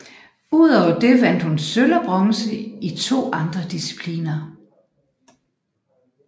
Udover det vandt hun sølv og bronze i 2 andre discipliner